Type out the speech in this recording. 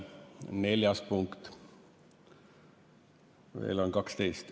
Neljas päevakorrapunkt, jäänud on veel 12.